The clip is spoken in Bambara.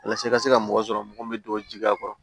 Walasa i ka se ka mɔgɔ sɔrɔ mɔgɔ min bɛ don ji a kɔrɔ